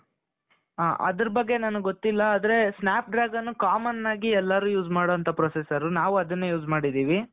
ಹ ಅದರ ಬಗ್ಗೆ ನನಗೆ ಗೊತ್ತಿಲ್ಲಾ ಆದ್ರೆ snap dragon commonಆಗಿ use ಮಾಡುವಂತ processor ನಾವು ಅದನ್ನೇ use ಮಾಡಿದ್ದೀವಿ .